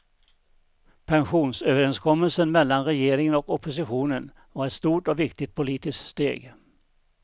Pensionsöverenskommelsen mellan regeringen och oppositionen var ett stort och viktigt politisk steg.